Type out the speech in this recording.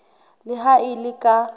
le ha e le ka